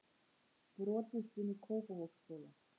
Brotist inn í Kópavogsskóla